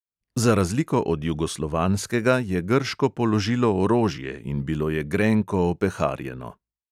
Za razliko od jugoslovanskega je grško položilo orožje in bilo je grenko opeharjeno.